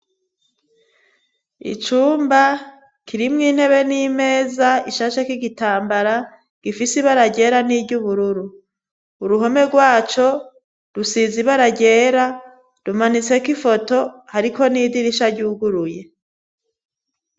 Icumba kirimwo intebe n'imeza ishasheko igitambara gifise ibara ryera n'iryubururu, uruhome rwaco rusizi ibara ryera, rumanitseko ifoto, hariko n'idirisha ryuguruye.